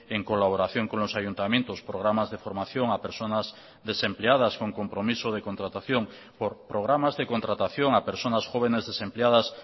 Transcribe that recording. en colaboración con los ayuntamientos programas de formación a personas desempleadas con compromiso de contratación por programas de contratación a personas jóvenes desempleadas